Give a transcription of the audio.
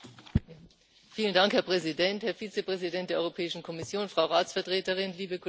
Herr Präsident, Herr Vizepräsident der Europäischen Kommission, Frau Ratsvertreterin, liebe Kolleginnen und Kollegen!